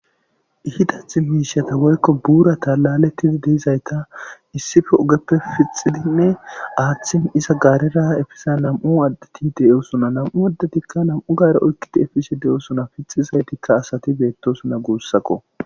ihidath miishiyata woykko buura talalettidi deizayta issife ogeppe fixidinne aaththin iza gaarera efiza nam7u addeti deyosuna namu addetikka nam7u gaare oykkiti efishe de7osona fixizaytikka asati beettosuna guussakko